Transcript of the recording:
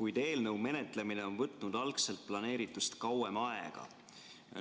kuid eelnõu menetlemine on võtnud algselt planeeritust kauem aega.